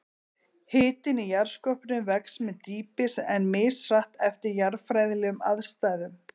Hitinn í jarðskorpunni vex með dýpi, en mishratt eftir jarðfræðilegum aðstæðum.